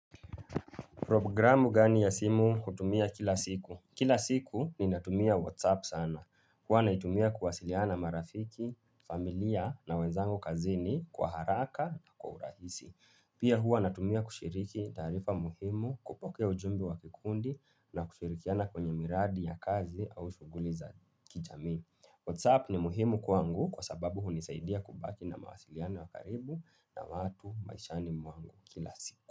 Programu gani ya simu hutumia kila siku? Kila siku ninatumia Whatsapp sana. Huwa naitumia kuwasiliana na marafiki, familia na wenzangu kazini kwa haraka na kwa urahisi. Pia huwa natumia kushiriki taarifa muhimu, kupokea ujumbe wa kikundi na kushirikiana kwenye miradi ya kazi au shughuli za kijamii. Whatsapp ni muhimu kwangu kwa sababu hunisaidia kubaki na mawasiliano ya karibu na watu maishani mwangu kila siku.